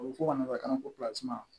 A bɛ fɔ ka nana kan ko